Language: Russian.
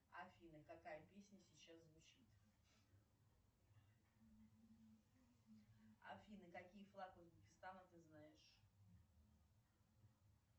афина какая песня сейчас звучит афина какие флаг узбекистана ты знаешь